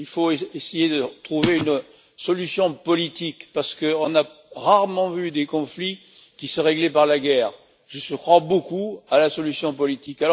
Il faut essayer de trouver une solution politique parce qu'on a rarement vu des conflits qui se réglaient par la guerre. Je crois beaucoup à la solution politique.